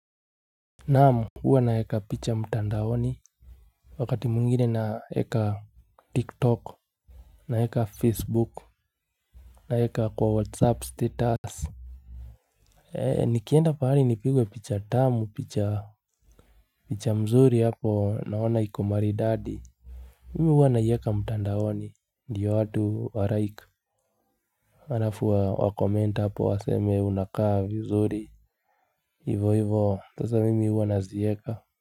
Naam huwa naeka picha mtandaoni. Wakati mwingine naeka tiktok. Naeka facebook. Naeka kwa whatsapp status. Eee nikienda pahari nipigwe picha tamu picha mzuri hapo naona iko maridadi. Mimi huwa naieka mtandaoni ndiyo watu warike halafu wacomment hapo waseme unakaa vizuri. Hivo hivo sasa mimi huwa nazieka Muzika.